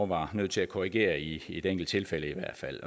var nødt til at korrigere i et enkelt tilfælde i hvert fald